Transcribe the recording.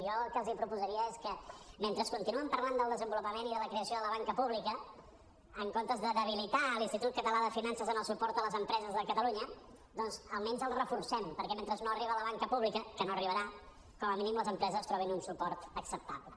jo el que els proposaria és que mentre continuen parlant del desenvolupament i de la creació de la banca pública en comptes de debilitar l’institut català de finances en el suport a les empreses de catalunya doncs almenys el reforcem perquè mentre no arriba la banca pública que no arribarà com a mínim les empreses trobin un suport acceptable